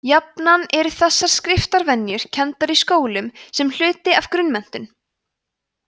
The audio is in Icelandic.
jafnan eru þessar skriftarvenjur kenndar í skólum sem hluti af grunnmenntun